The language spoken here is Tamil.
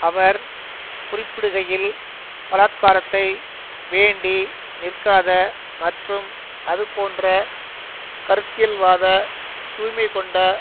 அவர் குறிப்பிடுகையில் பலாத்காரத்தை வேண்டி நிற்காத மற்றும் அதுபோன்ற கருத்தியல்வாத தூய்மைகொண்ட